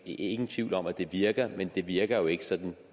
ingen tvivl om at det virker men det virker jo ikke sådan